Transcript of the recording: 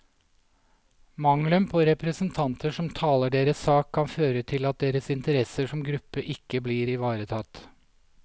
Mangelen på representanter som taler deres sak, kan føre til at deres interesser som gruppe ikke blir ivaretatt.